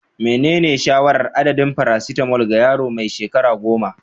Menene shawarar adadin "paracetamol" ga yaro mai shekaru 10?